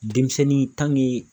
Denmisɛnnin